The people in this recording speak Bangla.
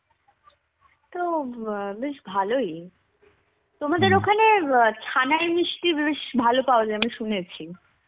তো অ্যাঁ বেশ ভালোই. তোমাদের ওখানে অ্যাঁ ছানায় মিষ্টি বেশ ভালো পাওয়া যায় মানে শুনেছি.